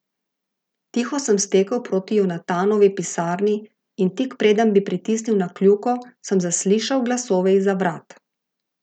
Tiho sem stekel proti Jonatanovi pisarni in tik preden bi pritisnil na kljuko, sem zaslišal glasove izza vrat.